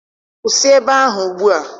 Kwụsị ebe ahụ ugbua!